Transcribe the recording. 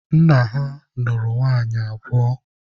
Nna ha nụrụ nwaanyị abụọ.